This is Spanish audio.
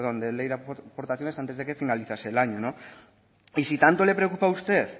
de ley de aportaciones antes de que finalizase el año y si tanto le preocupa a usted